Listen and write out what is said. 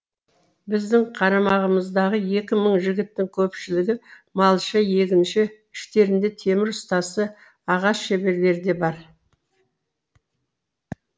біздің қарамағымыздағы екі мың жігіттің көпшілігі малшы егінші іштерінде темір ұстасы ағаш шеберлері де бар